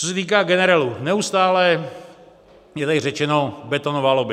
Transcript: Co se týká generelu, neustále je tady řečeno betonová lobby.